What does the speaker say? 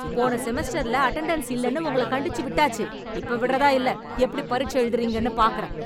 போன செமஸ்டர்ல அட்டெண்டன்ஸ் இல்லன்னு உங்கள கண்டிச்சு விட்டாச்சு, இப்ப விட்றதா இல்ல. எப்படி பரீட்சை எழுதுறீங்கன்னு பாக்கறேன்.